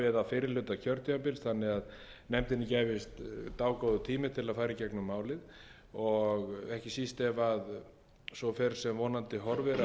fyrri hluta kjörtímabils þannig að nefndinni gæfist dágóður tími til að fara í gegnum málið og ekki síst ef svo fer sem vonandi horfir að